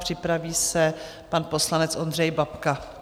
Připraví se pan poslanec Ondřej Babka.